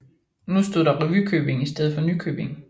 Nu stod der Revykøbing i stedet for Nykøbing